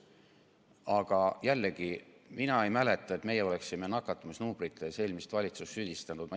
Aga jällegi, mina ei mäleta, et me oleksime nakatumisnumbrites eelmist valitsust süüdistanud.